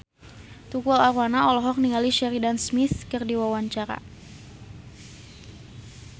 Tukul Arwana olohok ningali Sheridan Smith keur diwawancara